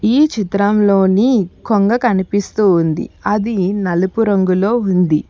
ఈ చిత్రంలోని కొంగ కనిపిస్తూ ఉంది అది నలుపు రంగులో ఉంది.